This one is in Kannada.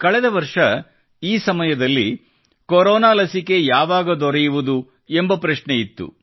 ಕಳೆದ ವರ್ಷ ಈ ಸಮಯದಲ್ಲಿ ಕೊರೊನಾ ಲಸಿಕೆ ಯಾವಾಗ ದೊರೆಯುವುದು ಎಂಬ ಪ್ರಶ್ನೆಯಿತ್ತು